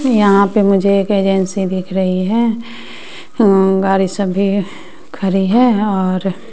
यहां पे मुझे एक एजेंसी दिख रही है गाड़ी सब भी खड़ी है और--